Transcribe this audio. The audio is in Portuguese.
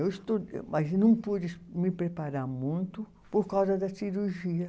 Eu estu êh, mas não pude me preparar muito por causa da cirurgia.